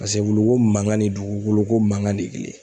Pase wulu ko maŋan ni dugukolo ko mankan de ye kelen ye.